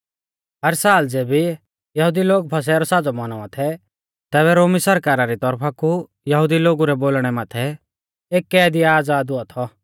हर साल ज़ैबै यहुदी लोग फसह रौ साज़ौ मौनावा थै तैबै रोमी सरकारा री तौरफा कु यहुदी लोगु रै बोलणै माथै एक कैदी आज़ाद हुआ थौ